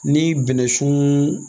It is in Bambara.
Ni bɛnɛsun